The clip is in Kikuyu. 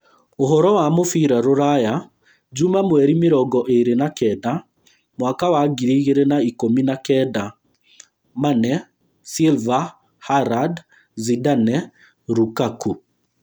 Ũhoro wa mũbira rũraya Juma mweri mĩrongo ĩĩrĩ wa kenda mwaka wa ngiri igĩrĩ na ikũmi na kenda: Mane, Silva, Haaland, Zidane, Lukaku